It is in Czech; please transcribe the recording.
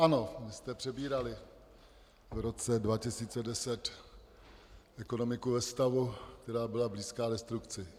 Ano, vy jste přebírali v roce 2010 ekonomiku ve stavu, která byla blízká destrukci.